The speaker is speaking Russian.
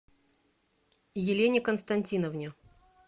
елене константиновне